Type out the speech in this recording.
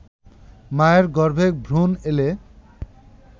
মায়ের গর্ভে ভ্রুণ এলে